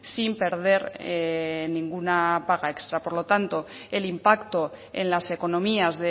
sin perder ninguna paga extra por lo tanto el impacto en las economías